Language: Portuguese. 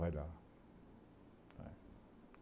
Vai lá.